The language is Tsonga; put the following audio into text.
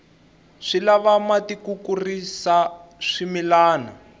swi lava mati ku kurisa swimilana